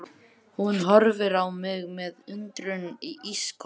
Hún horfir á mig með undrun í ísköld